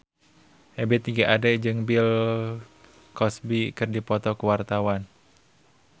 Ebith G. Ade jeung Bill Cosby keur dipoto ku wartawan